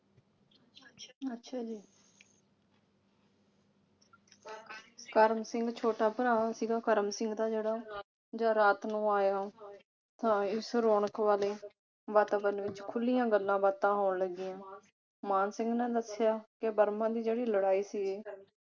ਕਰਮ ਸਿੰਘ ਛੋਟਾ ਭਰਾ ਸੀਗਾ ਕਰਮ ਸਿੰਘ ਦਾ ਜਿਹੜਾ ਜਾ ਰਾਤ ਨੂੰ ਆਇਆ ਹਾਂ ਇਸ ਰੌਣਕ ਵਾਲੇ ਵਾਤਾਵਰਣ ਵਿਚ ਖੁਲੀਆਂ ਗੱਲਾਂ ਬਾਤਾਂ ਹੋਣ ਲੱਗੀਆ। ਮਾਣ ਸਿੰਘ ਨੇ ਦੱਸਿਆ ਕਿ ਬਰਮਾ ਜੀ ਜਿਹੜੀ ਲੜਾਈ ਸੀ